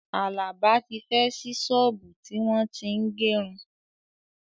Àlàbá tí fẹ́ ṣí ṣọ́ọ̀bú tí wọ́n tín gẹrun